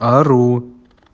ору